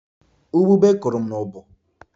Ubube kụrụ m ubu